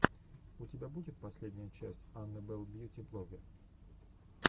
у тебя будет последняя часть анны белл бьюти блогге